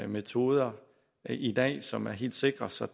metoder i dag som er helt sikre så